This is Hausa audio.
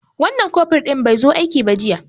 Wan nan kofur ɗin be zo aiki ba jiya